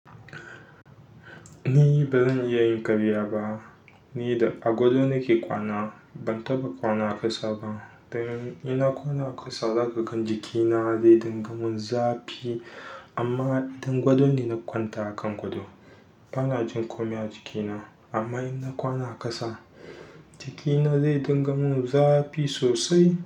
Ni baran iyayin ƙarya ba ni da a gado nake kwana, ban taɓa kwana a ƙasa ba. Dan ina kwana a ƙasa, zaƙakan jikina zai dinga mun zafi. Amma idan gado ne na kwanta a kan gadon, bana jin ƙomi a jikina. Amma ina kwana a ƙasa, jikina zai dinga mun zafi sosai.